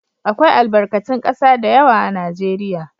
Akwai albakatun ƙasa da yawa a Najeriya.